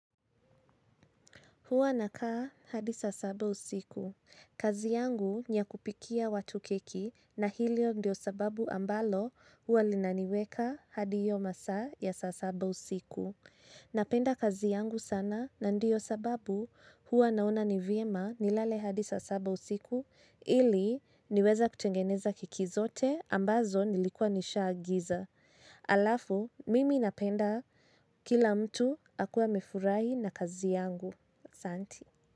Huwa nakaa hadi saa saba usiku. Kazi yangu ni ya kupikia watu keki na hilo ndio sababu ambalo huwa linaniweka hadi iyo masaa ya saa saba usiku. Napenda kazi yangu sana na ndiyo sababu huwa naona ni vyema nilale hadi saa saba usiku ili niweze kutengeneza keki zote ambazo nilikua nishaagiza. Alafu, mimi napenda kila mtu akue amefurahi na kazi yangu asanti.